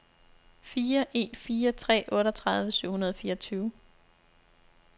fire en fire tre otteogtredive syv hundrede og fireogtyve